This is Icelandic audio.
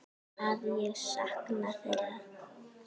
Að ég sakna þeirra.